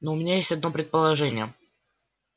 но у меня есть одно предположение